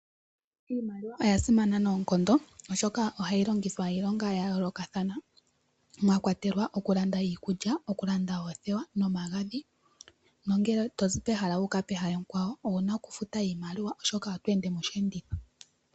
Iimaliwa oya simana noonkondo oshoka ohayi longithwa iilonga ya yoolokathana, mwa kwatelwa oku landa iikulya, oku landa oothewa nomagadhi nongele tozi pehala wuuka pehala ekwawo owuna oku futa iimaliwa oshoka oto ende moshiyenditho.